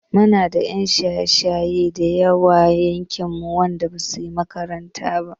Muna da 'yan shaye-shaye da yawa a yankinmu wanda basu he makaranta ba.